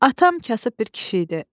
Atam kasıb bir kişi idi.